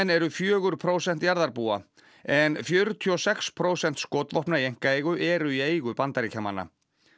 eru fjögur prósent jarðarbúa en fjörutíu og sex prósent skotvopna í einkaeigu eru í eigu Bandaríkjamanna